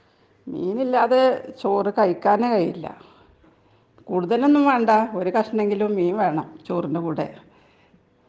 മീൻ ഇല്ലാതെ ചോറ് കഴിക്കാൻ കഴിയില്ല .കൂടുതൽ ഒന്നും വേണ്ട ഒരു കക്ഷണം എങ്കിലും മീൻ വേണം ചോറിന്റെ കൂടെ .